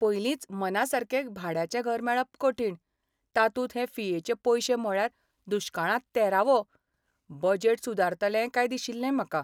पयलींच मनासारकें भाड्याचें घर मेळप कठीण, तातूंत हे फियेचे पयशे म्हळ्यार दुश्काळांत तेरावो. बजेट सुदारतलें काय दिशिल्लें म्हाका.